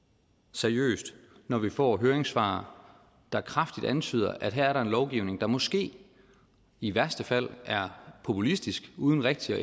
seriøst når vi får høringssvar der kraftigt antyder at her er der en lovgivning der måske i værste fald er populistisk uden rigtig at